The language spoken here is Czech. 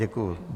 Děkuji.